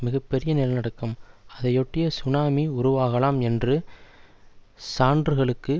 மிக பெரிய நிலநடுக்கம் அதையொட்டிய சுனாமி உருவாகலாம் என்று சான்றுகளுக்கு